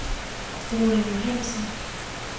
Rune Johannsen